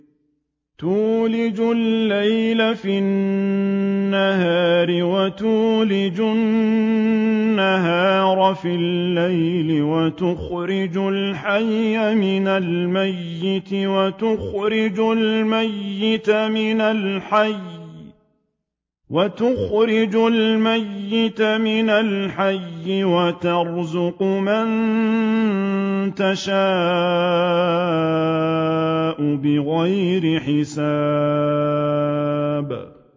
تُولِجُ اللَّيْلَ فِي النَّهَارِ وَتُولِجُ النَّهَارَ فِي اللَّيْلِ ۖ وَتُخْرِجُ الْحَيَّ مِنَ الْمَيِّتِ وَتُخْرِجُ الْمَيِّتَ مِنَ الْحَيِّ ۖ وَتَرْزُقُ مَن تَشَاءُ بِغَيْرِ حِسَابٍ